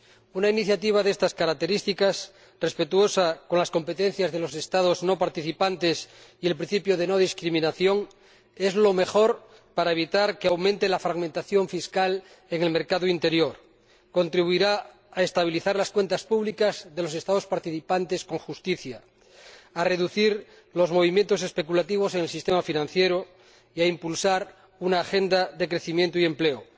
Una iniciativa de estas características, respetuosa con las competencias de los Estados no participantes y el principio de no discriminación, es lo mejor para evitar que aumente la fragmentación fiscal en el mercado interior y contribuirá a estabilizar las cuentas públicas de los Estados participantes con justicia, a reducir los movimientos especulativos en el sistema financiero y a impulsar una agenda de crecimiento y empleo.